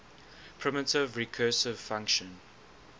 primitive recursive function